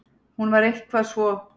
Hún var eitthvað svo.